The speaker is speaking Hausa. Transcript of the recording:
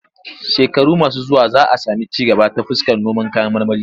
Shekaru masu zuwa za sami ci gaba ta fuskar noman kayan marmari.